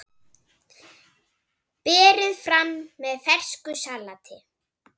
Berið fram með fersku salati.